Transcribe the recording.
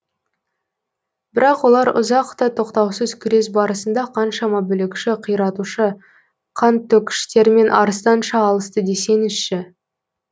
бірақ олар ұзақ та тоқтаусыз күрес барысында қаншама бүлікші қиратушы қантөккіштермен арыстанша алысты десеңізші